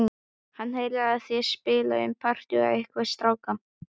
Hann heyrir að þær spjalla um partí og einhverja stráka.